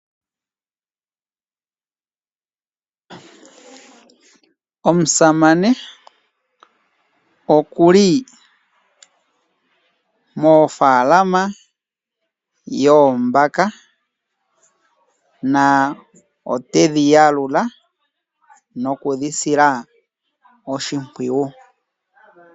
Omusamane okuli mo faalama yoombaka, na otedhi yalula, no kudhi sila oshimpwiyu.